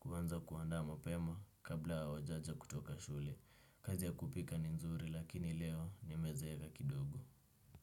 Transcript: kuanza kuandaa mapema, kabla wa wajaja kutoka shule. Kazi ya kupika ni nzuri, lakini leo, nimezeeva kidogo.